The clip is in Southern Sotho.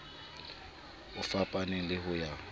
a fapaneng le ho ya